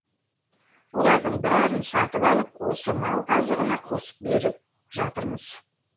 олардың бәрін сатып алып осы мал азығына қосып беріп жатырмыз